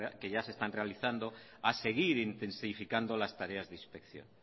que ya se están realizando a seguir intensificando las tareas de inspección